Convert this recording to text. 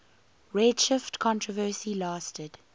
redshift controversy lasted